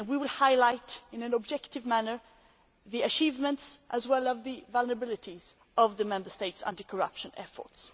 We will highlight in an objective manner the achievements, as well as the vulnerabilities, of the Member States' anti corruption efforts.